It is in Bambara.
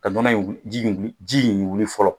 Ka nɔnɔ in wi ji in wili ji in wili fɔlɔ